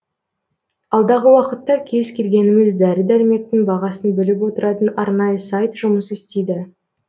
алдағы уақытта кез келгеніміз дәрі дәрмектің бағасын біліп отыратын арнайы сайт жұмыс істейді